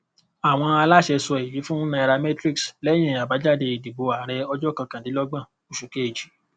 àwọn aláṣẹ sọ èyí fún nairametrics lẹyìn abájáde ìdìbò ààrẹ ọjọ kọkàndínlọgbọn oṣù kejì